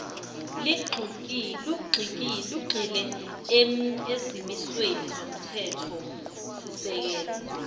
lugxile ezimisweni zomthethosisekelo